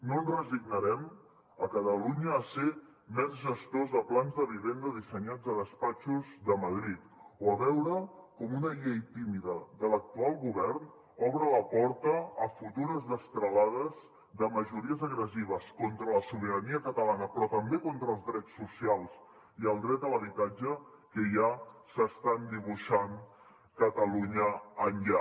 no ens resignarem a catalunya a ser mers gestors de plans de vivenda dissenyats a despatxos de madrid o a veure com una llei tímida de l’actual govern obre la porta a futures destralades de majories agressives contra la sobirania catalana però també contra els drets socials i el dret a l’habitatge que ja s’estan dibuixant catalunya enllà